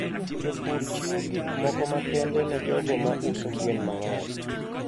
Jopur chiwo gik moko makende ne jogo ma uso gwen mang'eny.